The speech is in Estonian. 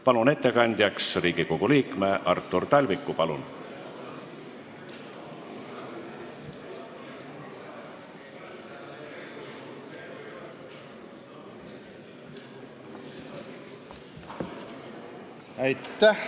Palun ettekandjaks Riigikogu liikme Artur Talviku!